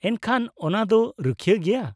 -ᱮᱱᱠᱷᱟᱱ, ᱚᱱᱟ ᱫᱚ ᱨᱩᱠᱷᱤᱭᱟᱹ ᱜᱮᱭᱟ?